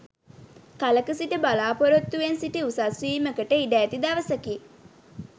කලක සිට බලා‍පොරොත්තුවෙන් සිටි උසස් වීමකට ඉඩ ඇති දවසකි.